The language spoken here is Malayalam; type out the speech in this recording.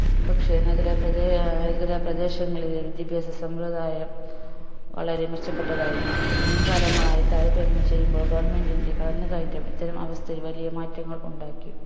പക്ഷേ നാഗരാപ്രദേ അഹ് നഗരപ്രദേശങ്ങളിലെ വിദ്യാഭ്യാസ സമ്പ്രദായം വളരെ മെച്ചപ്പെട്ടതായിരുന്നു മുൻകാലങ്ങളായി താരതമ്യം ചെയ്യുമ്പോൾ government ൻറെ കടന്നു കയറ്റം ഇത്തരം അവസ്ഥയിൽ വലിയ മാറ്റങ്ങൾ ഉണ്ടാക്കി